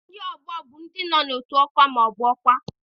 Ndị ọgbọ bụ ndị nọ n'otu ọkwa ma ọ bụ ọkwa.